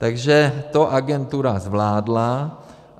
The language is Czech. Takže to agentura zvládla.